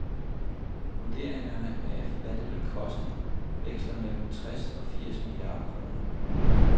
Vurderingerne af, hvad det vil koste, veksler mellem tres og firs milliarder kroner.